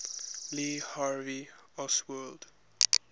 lee harvey oswald